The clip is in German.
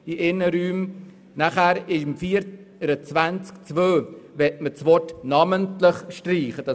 Bei Artikel 24 Absatz 2 soll das Wort «namentlich» gestrichen werden.